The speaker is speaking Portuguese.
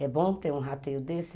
É bom ter um rateio desse?